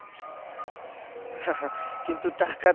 কিন্তু টাকা তো,